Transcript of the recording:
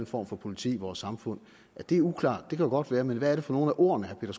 form for politi i vores samfund at det er uklart kan godt være men hvad er det for nogle af ordene